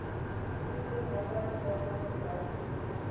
erkende nywerheidsliggame beleidsdokumente